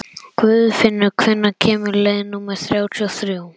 Guðfinnur, hvenær kemur leið númer þrjátíu og þrjú?